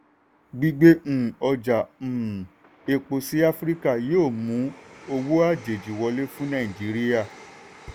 gbígbé um ọjà um epo sí áfíríkà yóò mú owó àjèjì wọlé fún nàìjíríà.